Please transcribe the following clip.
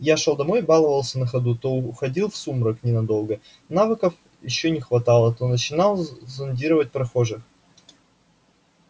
я шёл домой и баловался на ходу то уходил в сумрак ненадолго навыков ещё не хватало то начинал зондировать прохожих